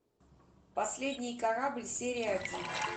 последний корабль серия один